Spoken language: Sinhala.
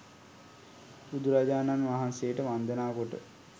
බුදුරජාණන් වහන්සේට වන්දනා කොට